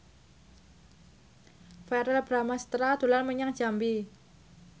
Verrell Bramastra dolan menyang Jambi